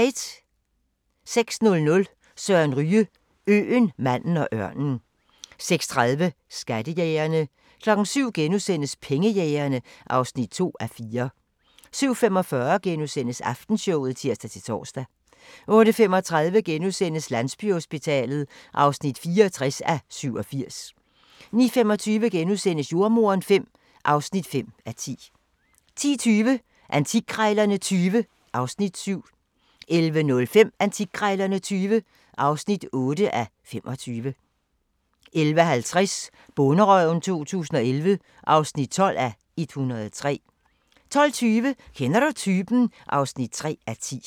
06:00: Søren Ryge: Øen, manden og ørnen 06:30: Skattejægerne 07:00: Pengejægerne (2:4)* 07:45: Aftenshowet *(tir-tor) 08:35: Landsbyhospitalet (64:87)* 09:25: Jordemoderen V (5:10)* 10:20: Antikkrejlerne XX (7:25) 11:05: Antikkrejlerne XX (8:25) 11:50: Bonderøven 2011 (12:103) 12:20: Kender du typen? (3:10)